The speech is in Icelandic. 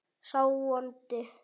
sá vondi